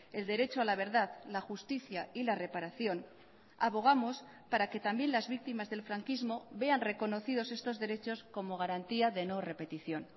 el derecho a la verdad la justicia y la reparación abogamos para que también las víctimas del franquismo vean reconocidos estos derechos como garantía de no repetición